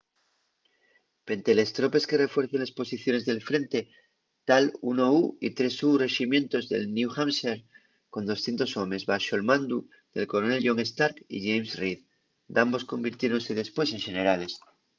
pente les tropes que refuercen les posiciones del frente ta’l 1u y 3u reximientos de new hampshire con 200 homes baxo’l mandu del coronel john stark y james reed dambos convirtiéronse depués en xenerales